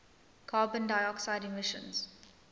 carbon dioxide emissions